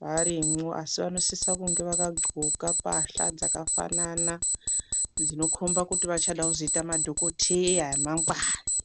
varimwo, asi vanosisa kunge vakadxoka pahla dzakafanana, dzinokomba kuti vachada kuzoyita madhokoteya emangwani.